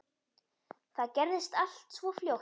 Það gerðist allt svo fljótt.